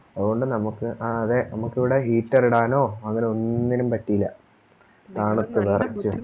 അത് കൊണ്ട് നമുക്ക് ആ അതെ നമുക്കിവിടെ Heater ഇടാനോ അങ്ങനെ ഒന്നിനും പറ്റില്ല തണുത്ത് വെറച്ച്